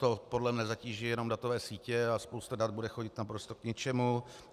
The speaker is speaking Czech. To podle mne zatíží jenom datové sítě a spousta dat bude chodit naprosto k ničemu.